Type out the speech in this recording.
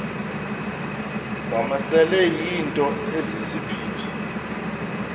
wamasele yinto esisiphithi